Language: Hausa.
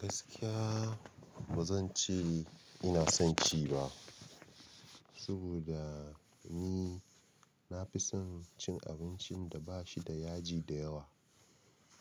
Gaskiya ba zan ce ina son ci ba, saboda ni na fi son cin abincin da ba shi da yaji da yawa.